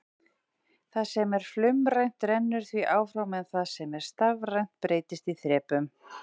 Það sem er flaumrænt rennur því áfram en það sem er stafrænt breytist í þrepum.